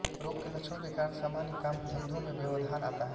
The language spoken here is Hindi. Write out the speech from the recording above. रोग के लक्षणों के कारण सामान्य कामधन्धों में व्यवधान आता है